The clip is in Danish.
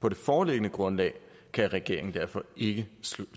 på det foreliggende grundlag kan regeringen derfor ikke